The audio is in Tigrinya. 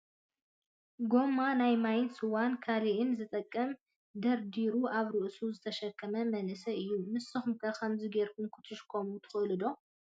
ጎማ ናይ ማይን ስዋን ካልእን ዝጠቅም ደርዲሩ ኣብ ርእሱ ዝተሸከመ መንእሰይ እዩ። ንስኩም ከ ከምዚ ገርኩም ክትሽከሙ ትክእሉ ዶ ?